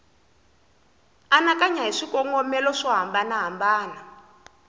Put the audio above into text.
anakanya hi swikongomelo swo hambanahambana